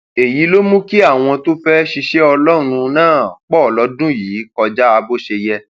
èyí ló mú kí àwọn tó fẹẹ ṣiṣẹ ọlọrun náà pọ lọdún yìí kọjá bó ṣe yẹ